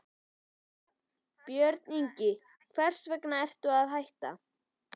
Lára: Björn Ingi, hvers vegna ertu að hætta?